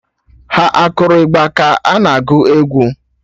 Ha akụrụ ịgba ka ọ na agụ egwu?